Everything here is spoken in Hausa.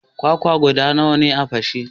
Kwakwa guda nawa ka fashe?